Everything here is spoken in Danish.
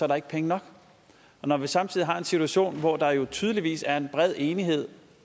der ikke penge nok og når vi samtidig har en situation hvor der jo tydeligvis er bred enighed